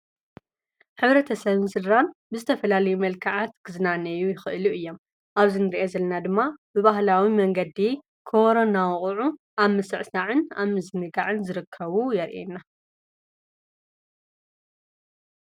ኅብሪተሰብን ስድራን ብዝተፈላል መልከዓት ክዝናነዩ ይኽእሉ እየ ኣብዝንርየ ዘለና ድማ ብባህላዊ መንገዲየይ ክሮናውቕዑ ኣብ ምሠዕሳዕን ኣብዝንጋዕን ዝርከቡ የርየና።